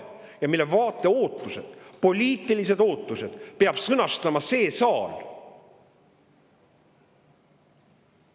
Ja selle vaate ootused, poliitilised ootused, peab sõnastama see saal!